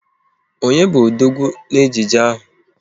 Onye bu odogwu na ejije ahụ?